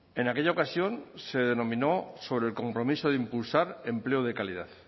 en aquella ocasión se denominó sobre el compromiso de impulsar empleo de calidad